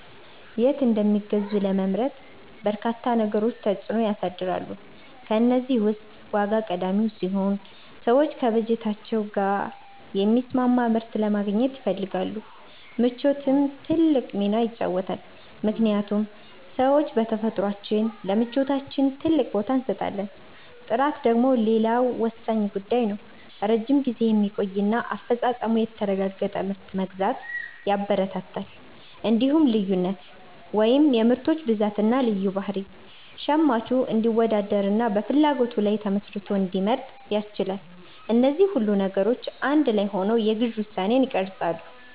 የት እንደሚገዙ ለመምረጥ በርካታ ነገሮች ተጽዕኖ ያሳድራሉ። ከእነዚህ ውስጥ ዋጋ ቀዳሚው ሲሆን፣ ሰዎች ከበጀታቸው ጋር የሚስማማ ምርት ለማግኘት ይፈልጋሉ። ምቾትም ትልቅ ሚና ይጫወታልምክንያቱም ሰዎች በተፈጥሯችን ለምቾታችን ትልቅ ቦታ እንሰጣለን። ጥራት ደግሞ ሌላው ወሳኝ ጉዳይ ነው፤ ረጅም ጊዜ የሚቆይና አፈጻጸሙ የተረጋገጠ ምርት መግዛት ያበረታታል። እንዲሁም ልዩነት (የምርቶች ብዛትና ልዩ ባህሪ) ሸማቹ እንዲወዳደርና በፍላጎቱ ላይ ተመስርቶ እንዲመርጥ ያስችላል። እነዚህ ሁሉ ነገሮች አንድ ላይ ሆነው የግዢ ውሳኔን ይቀርጻሉ።